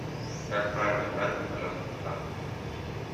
как правильно играть на колесных танках